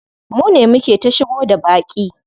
Mune muke ta shigo da baƙi.